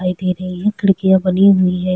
दिखाई दे रही है खिड़कियाँ बनी हुई हैं।